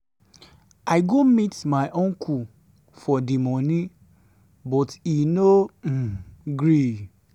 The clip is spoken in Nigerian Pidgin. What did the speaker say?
i go meet my uncle for the money but e no um gree.